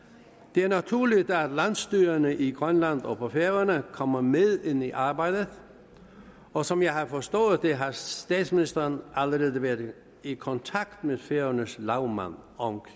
det er naturligt at landsstyrerne i grønland og på færøerne kommer med ind i arbejdet og som jeg har forstået det har statsministeren allerede været i kontakt med færøernes lagmand om om